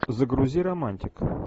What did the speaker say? загрузи романтику